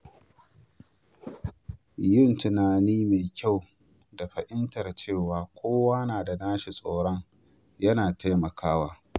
Yin tunani mai kyau da fahimtar cewa kowa na da nasa tsoron yana taimakawa.